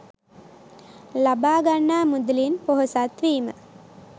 ලබා ගන්නා මුදලින් පොහොසත් වීම